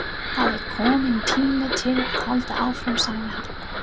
Það er kominn tími til að halda áfram sagði hann.